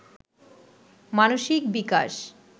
মানসিক বিকাশ